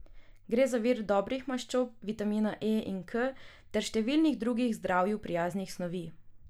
Gre za vir dobrih maščob, vitamina E in K ter številnih drugih zdravju prijaznih snovi.